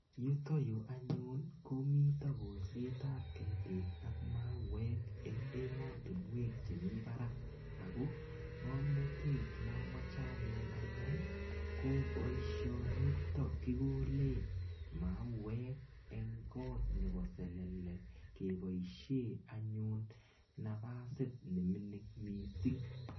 Yutayu anyun ko mita kolset ap ketik ak mauek eng' ematunwek chemi parak ako ng'amnatet anyun ne amache anai ko poishonitok kikole mauek eng' kot nepo selele kepoishe anyun nafasit ne minining' missing'.